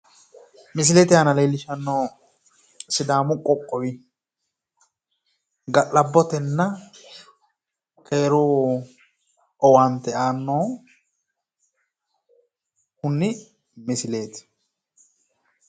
Misilete aana leellishannohu Sidaamu qoqqowi ga'labbotenna keeru owaante aannohuni misileeti.